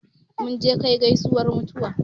Mun je kai gaisuwar mutuwa